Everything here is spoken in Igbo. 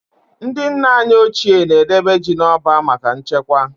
Ndị nna anyị ochie na-edebe ji n'ọba maka nchekwa.